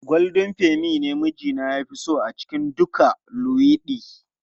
Goldin feni ne mijina ya fi so a cikin duka luwaiɗi.